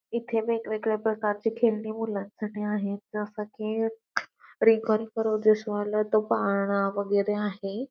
इथे वेगवेगळ्या प्रकारची खेळणी मुलांसाठी आहेत जस की रिंगा रिंगा रोझेस वाला तो पाळणा वैगेरे आहे.